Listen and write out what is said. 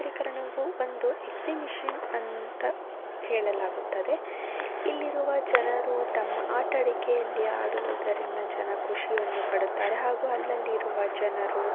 ಈ ಪ್ರಕರಣವು ಒಂದು ಎಕ್ಸಿಬಿಷನ್ ಅಂತ ಹೇಳಲಾಗುತ್ತದೆ. ಇಲ್ಲಿರುವ ಜನರು ತಮ್ಮ ಆಟಾಡಿಕೆಯಲ್ಲಿ ಆಡುವದರಿನ್ನ ಜನ ಖುಷಿಯನ್ನು ಪಡುತ್ತಾರೆ ಹಾಗು ಅಲ್ಲಲ್ಲಿರುವ ಜನರು--